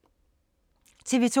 TV 2